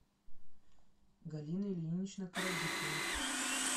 галина ильинична коробицына